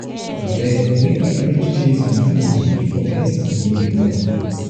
abeg make we arrange chairs and canopy before guests begin dey come.